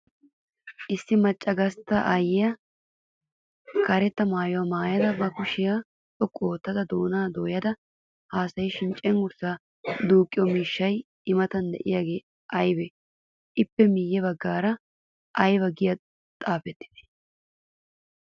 Issi macca gastta aayyiya karetta maayuwa maayada ba kushiya xoqqu ootta doonaa dooyada haasayishin cenggurssaa duuqqiyo miishshay I Matan de'iyaagee aybee? Ippe miyye baggaara aybaa giyagee xaafettidee?